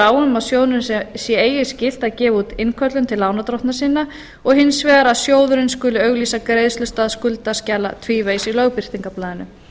um að sjóðnum sé eigi skylt að gefa út innköllun til lánardrottna sinna og hins vegar að sjóðurinn skuli auglýsa greiðslustað skuldaskjala tvívegis í lögbirtingablaðinu